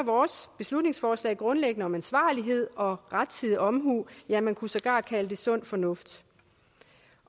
beslutningsforslaget grundlæggende om ansvarlighed og rettidig omhu ja man kunne sågar kalde det sund fornuft